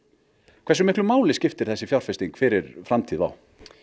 hversu miklu máli skiptir þessi fjárfesting fyrir framtíð WOW